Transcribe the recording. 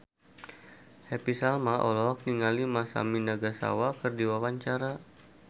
Happy Salma olohok ningali Masami Nagasawa keur diwawancara